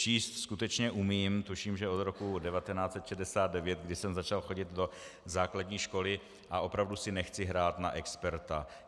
Číst skutečně umím, tuším, že od roku 1969, kdy jsem začal chodit do základní školy, a opravdu si nechci hrát na experta.